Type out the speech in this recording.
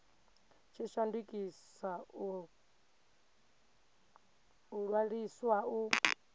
tshi shandukisa u ṅwaliswa u